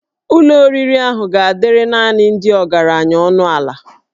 Ụlọ oriri ahụ ga-adịrị naanị ndị ọgaranya ọnụ ala